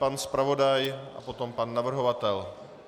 Pan zpravodaj a potom pan navrhovatel.